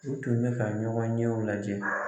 U tun bɛ fɛ ɲɔgɔn ɲɛw lajɛ